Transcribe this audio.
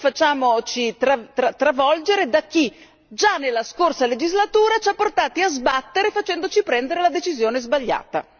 Non facciamoci travolgere da chi, già nella scorsa legislatura, ci ha portati a sbattere facendoci prendere la decisione sbagliata.